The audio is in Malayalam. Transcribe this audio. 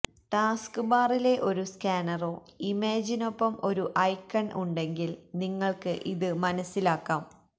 ടാസ്ക്ബാറിലെ ഒരു സ്കാനറോ ഇമേജിനൊപ്പം ഒരു ഐക്കൺ ഉണ്ടെങ്കിൽ നിങ്ങൾക്ക് ഇത് മനസിലാക്കാം